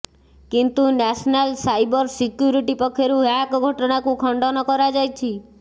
କିନ୍ତୁ national cyber security ପକ୍ଷରୁ hack ଘଟଣାକୁ ଖଣ୍ଡନ କରାଯାଇଛି